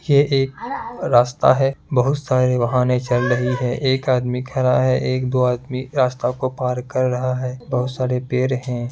ये एक रास्ता है बहुत सारे वाहने चल रही है एक आदमी खड़ा है एक दो आदमी रास्ता को पार कर रहा है बहुत सारे पेड़ हैं ।